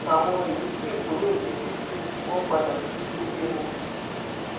àwọn yìí sì kúrò ní títì wọn padà sí ilé wọn